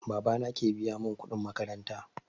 Baba na ke biya mun kuɗin makaranta